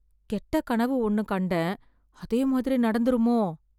கெட்ட கனவு ஒண்ணு கண்டேன், அதே மாதிரி நடந்துருமோ?